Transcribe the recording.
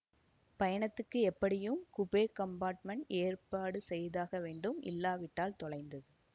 பயணத்துக்கு எப்படியும் coupe compartment ஏற்பாடு செய்தாக வேண்டும் இல்லாவிட்டால் தொலைந்தது